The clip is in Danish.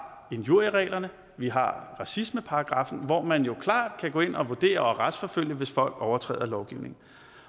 injuriereglerne vi har racismeparagraffen hvor man klart kan gå ind og vurdere og retsforfølge hvis folk overtræder lovgivningen